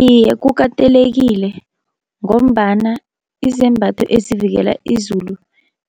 Iye kukatelekile, ngombana izembatho ezivikela izulu